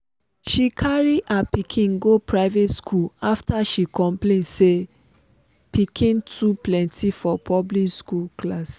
she carry her pikin go private school after she complain say piken too pleny for public school class.